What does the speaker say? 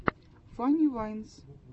фанни вайнс